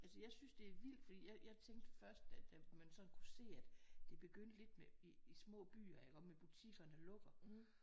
Altså jeg synes det er vildt fordi jeg jeg tænkte først da man sådan kunne se at det begyndte lidt med i små byer iggå med butikkerne lukker